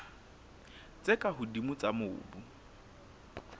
tse ka hodimo tsa mobu